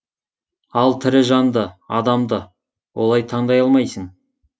ал тірі жанды адамды олай таңдай алмайсың